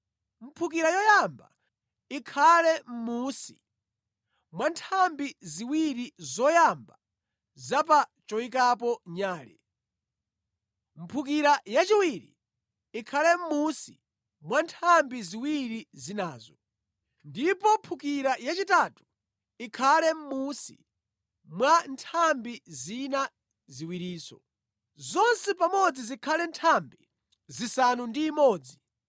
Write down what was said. Mphukira yoyamba ikhale mʼmunsi mwa nthambi ziwiri zoyamba za pa choyikapo nyale. Mphukira yachiwiri ikhale mʼmunsi mwa nthambi ziwiri zinazo. Ndipo mphukira yachitatu ikhale mʼmunsi mwa nthambi zina ziwirinso. Zonse pamodzi zikhale nthambi zisanu ndi imodzi